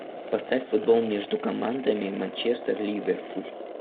поставь футбол между командами манчестер ливерпуль